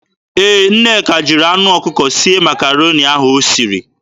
Ee, Nneka jiri anụ ọkụkọ sie Makaroni ahụ o siri.